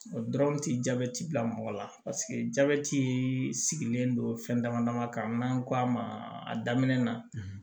O dɔrɔn tɛ jabɛti bila mɔgɔ la paseke jabɛti sigilen don fɛn dama dama ka n'an k'a ma a daminɛ na